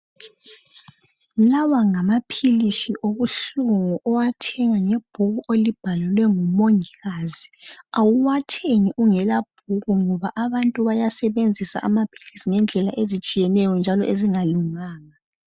Lawa ngamaphilisi obuhlungu owathenga ngebhuku olibhalelwe ngumongikazi. Awuwathengi ungela bhuku ngoba abantu bayasebenzisa amaphilisi ngendlela ezitshiyeneyo njalo ezingalunganga.